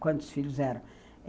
Quantos filhos eram?